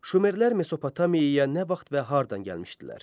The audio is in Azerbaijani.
Şumerlər Mesopotamiyaya nə vaxt və hardan gəlmişdilər?